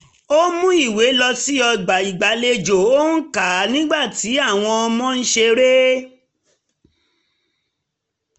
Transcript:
ó mú ìwé lọ sí ọgbà ìgbàlejò ó ń kà á nígbà tí àwọn ọmọ ń ṣeré